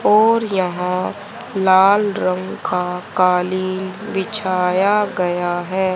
और यहां लाल रंग का कालीन बिछाया गया है।